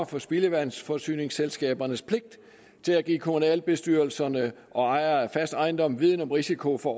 for spildevandsforsyningsselskabernes pligt til at give kommunalbestyrelserne og ejere af fast ejendom viden om risiko for